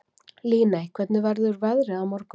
Líney, hvernig verður veðrið á morgun?